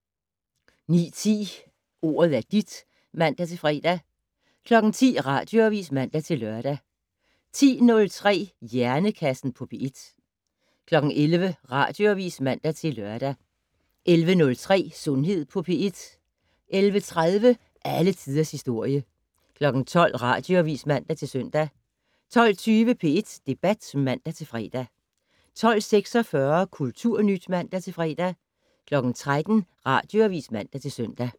09:10: Ordet er dit (man-fre) 10:00: Radioavis (man-lør) 10:03: Hjernekassen på P1 11:00: Radioavis (man-lør) 11:03: Sundhed på P1 11:30: Alle tiders historie 12:00: Radioavis (man-søn) 12:20: P1 Debat (man-fre) 12:46: Kulturnyt (man-fre) 13:00: Radioavis (man-søn)